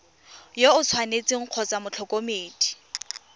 yo o tshwanetseng kgotsa motlhokomedi